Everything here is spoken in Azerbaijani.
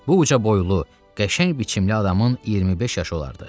Bu ucaboylu, qəşəng biçimli adamın 25 yaşı olardı.